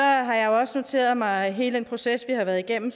har jeg også noteret mig hele den proces vi har været igennem